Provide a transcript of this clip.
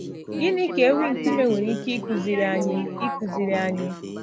Gịnị ka ewi nkume nwere ike ịkụziri anyị? ịkụziri anyị?